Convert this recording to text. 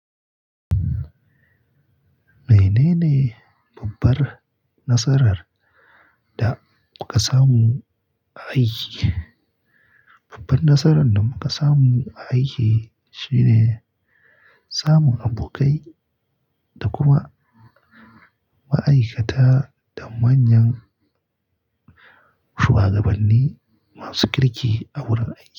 Mene ne babbar nasarar da kuka samu a aiki? Babbar nasarar da muka samu a aiki shine samun abokai da kuma ma'aikata da manyan shuwagabanni masu kirki a wurin aiki.